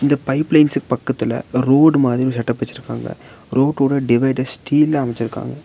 இந்த பைப் லைன்ஸ்க்கு பக்கத்துல ரோடு மாறி ஒரு செட்டப் வெச்சிருக்காங்க ரோட்டோட டிவைட ஸ்டீல்ல அமச்சிருக்காங்க.